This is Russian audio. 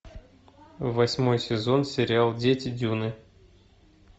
восьмой сезон сериал дети дюны